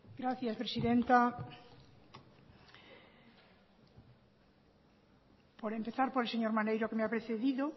gracias presidenta por empezar por el señor maneiro que me ha precedido